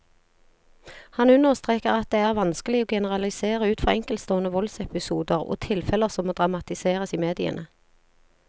Han understreker at det vanskelig å generalisere ut fra enkeltstående voldsepisoder og tilfeller som dramatiseres i mediene.